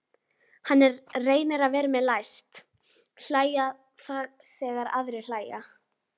Hann reynir að vera með, læst hlæja þegar aðrir hlæja.